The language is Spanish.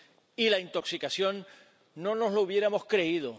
y la intoxicación, no nos lo hubiéramos creído.